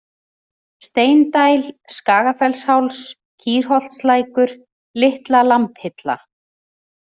Steindæl, Skagafellsháls, Kýrholtslækur, Litla-Lambhilla